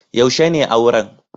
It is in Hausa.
Yaushe ne auran?